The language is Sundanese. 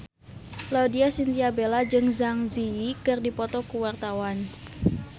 Laudya Chintya Bella jeung Zang Zi Yi keur dipoto ku wartawan